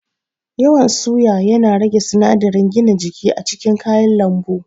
Yawan suya yana rage sinadiran gina jiki a cikin kayan lambu